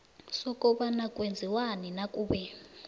sokobana kwenziwani nakube